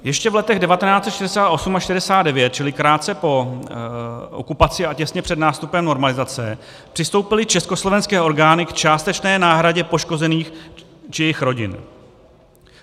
Ještě v letech 1968 a 1969, čili krátce po okupaci a těsně před nástupem normalizace, přistoupily československé orgány k částečné náhradě poškozených či jejich rodin.